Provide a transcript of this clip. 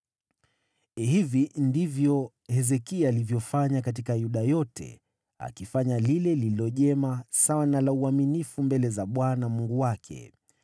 Hivi ndivyo Hezekia alivyofanya katika Yuda yote, akifanya lile lililo jema, sawa na la uaminifu mbele za Bwana Mungu wake.